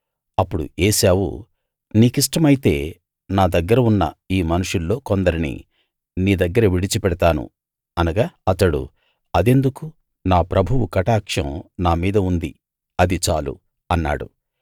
అప్పుడు ఏశావు నీ కిష్టమైతే నా దగ్గర ఉన్న ఈ మనుషుల్లో కొందరిని నీ దగ్గర విడిచిపెడతాను అనగా అతడు అదెందుకు నా ప్రభువు కటాక్షం నా మీద ఉంది అది చాలు అన్నాడు